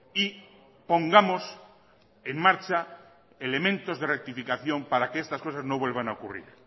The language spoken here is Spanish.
y pongamos en marcha elementos de rectificación para que estas cosas no vuelvan a ocurrir